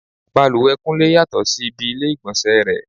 Bàlùwẹ̀ Kúnlé yàtọ̀ sí ibi ilé ìgbọ̀nsẹ̀ rẹ.